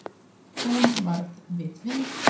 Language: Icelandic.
Hún varð við því